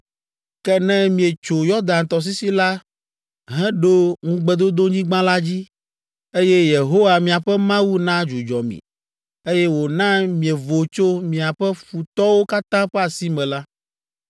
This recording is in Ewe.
Ke ne mietso Yɔdan tɔsisi la heɖo ŋugbedodonyigba la dzi, eye Yehowa, miaƒe Mawu na dzudzɔ mi, eye wòna mievo tso miaƒe futɔwo katã ƒe asi me la,